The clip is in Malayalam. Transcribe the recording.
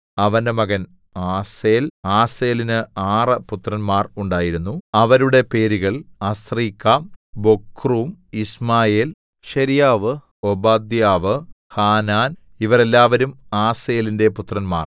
അവന്റെ മകൻ ആസേൽ ആസേലിന് ആറ് പുത്രന്മാർ ഉണ്ടായിരുന്നു അവരുടെ പേരുകൾ Azrikam Bocheru Ishmael Sheariah Obadiah Hanan ഇവർ എല്ലാവരും ആസേലിന്റെ പുത്രന്മാർ